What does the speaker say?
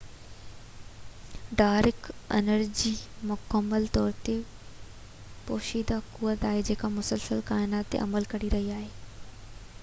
dark energy مڪمل طور تي پوشيده قوت آھي جيڪا مسلسل ڪائنات تي عمل ڪري رھي آھي